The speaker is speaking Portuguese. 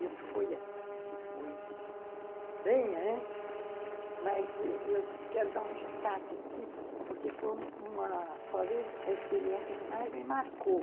Isso foi antes, isso foi bem antes, mas eu eu quero dar um destaque aqui, porque foi talvez a experiência que mais me marcou.